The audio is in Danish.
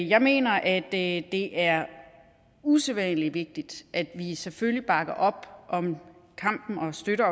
jeg mener at det er usædvanlig vigtigt at vi selvfølgelig bakker op om og støtter